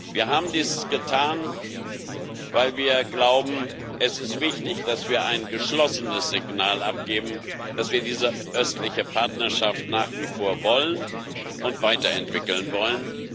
Wir haben dies getan, weil wir glauben, es ist wichtig, dass wir ein geschlossenes Signal abgeben, dass wir diese Östliche Partnerschaft nach wie vor wollen und weiterentwickeln wollen.